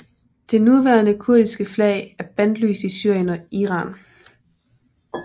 Det nuværende kurdiske flag er bandlyst i Syrien og Iran